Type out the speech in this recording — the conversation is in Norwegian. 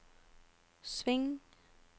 sving